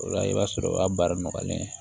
O la i b'a sɔrɔ o ka baara nɔgɔyalen